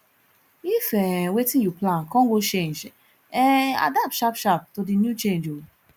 if um wetin you plan con go change um adapt sharp sharp to di new change o